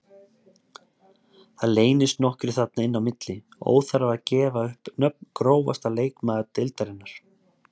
Það leynast nokkrir þarna inn á milli, óþarfi að gefa upp nöfn Grófasti leikmaður deildarinnar?